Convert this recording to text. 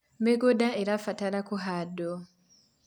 mĩgũnda irabatara kũhandwo